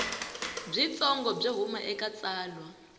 byitsongo byo huma eka tsalwa